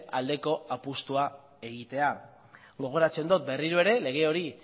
aldeko apustua egitea gogoratzen dot berriro ere lege hori